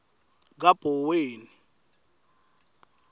kabhoweni